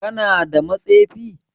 Kana da matsefi?